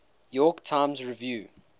york times review